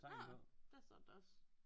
Nårh det står der da også